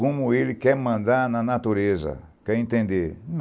Como ele quer mandar na natureza, quer entender.